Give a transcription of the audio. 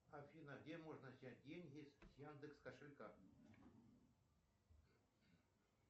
афина где можно снять деньги с яндекс кошелька